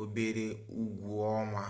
obere ụgwọ ọnwa